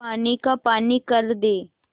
पानी का पानी कर दे